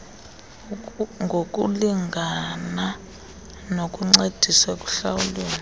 ngokulingabna nokuncediswa ekuhlawuleni